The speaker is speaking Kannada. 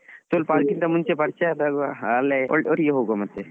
ಸ್ವಲ್ಪ ಅದಕ್ಕಿಂತ ಮುಂಚೆ ಪರಿಚಯದಾಗ ಒಟ್ಟಿಗೆ ಹೋಗುವ ಮತ್ತೆ.